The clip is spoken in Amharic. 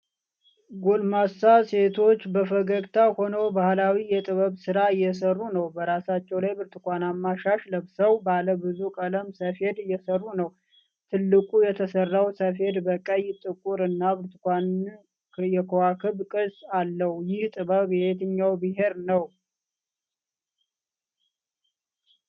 ጎልማሳ ሴቶች በፈገግታ ሆነው ባህላዊ የጥበብ ሥራ እየሰሩ ነው። በራሳቸው ላይ ብርቱካናማ ሻሽ ለብሰው፣ ባለ ብዙ ቀለም ሰፌድ እየሰሩ ነው። ትልቁ የተሰራው ሰፌድ በቀይ፣ ጥቁር እና ብርቱካን የከዋክብት ቅርጽ አለው፤ ይህ ጥበብ የየትኛው ብሔር ነው?